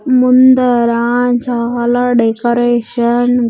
ముందర చాలా డెకరేషన్ .